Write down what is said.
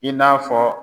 I n'a fɔ